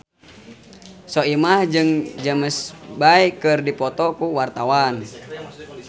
Soimah jeung James Bay keur dipoto ku wartawan